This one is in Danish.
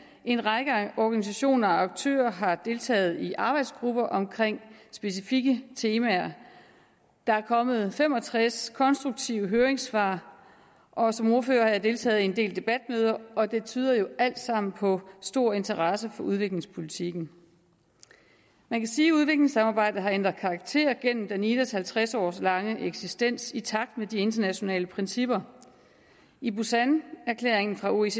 en række organisationer og aktører har deltaget i arbejdsgrupper om specifikke temaer der er kommet fem og tres konstruktive høringssvar og som ordfører har jeg deltaget i en del debatmøder og det tyder jo alt sammen på stor interesse for udviklingspolitikken man kan sige at udviklingssamarbejdet har ændret karakter igennem danidas halvtreds år lange eksistens i takt med de internationale principper i busanerklæringen fra oecd